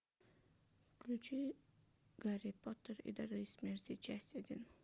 включи гарри поттер и дары смерти часть один